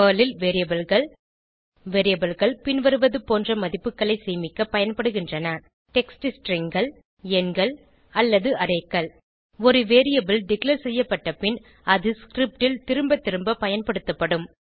Perl ல் Variableகள் Variableகள் பின்வருவது போன்ற மதிப்புகளை சேமிக்க பயன்படுகின்றன டெக்ஸ்ட் stringகள் எண்கள் அல்லது arrayகள் ஒரு வேரியபிள் டிக்ளேர் செய்யப்பட்ட பின் அது ஸ்கிரிப்ட் ல் திரும்ப திரும்ப பயன்படுத்தப்படும்